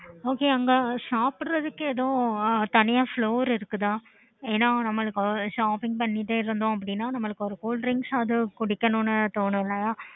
okay அங்க சாப்புட்றதுக்கு தனியா floor இருக்குதா ஏன்னா நம்மளுக்கு பண்ணிட்டே இருந்தோம் அப்பிடின்னா